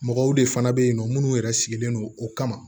Mɔgɔw de fana bɛ yen nɔ minnu yɛrɛ sigilen don o kama